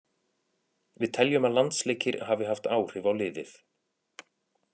Við teljum að landsleikir hafi haft áhrif á liðið.